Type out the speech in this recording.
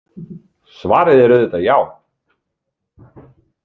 Svarið er auðvitað já.